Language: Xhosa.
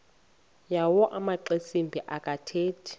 yawo amaxesibe akathethi